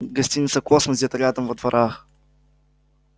гостиница космос где-то рядом во дворах